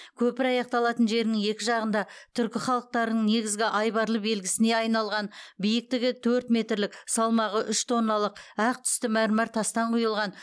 көпір аяқталатын жерінің екі жағында түркі халықтарының негізгі айбарлы белгісіне айналған биіктігі төрт метрлік салмағы үш тонналық ақ түсті мәрмәр тастан құйылған